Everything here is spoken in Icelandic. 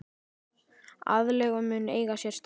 Aðlögun mun eiga sér stað.